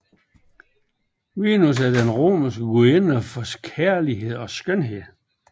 Venus er den romerske gudinde for kærlighed og skønhed